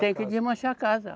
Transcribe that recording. Tem que desmanchar a casa.